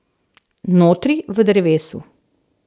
Notri v drevesu.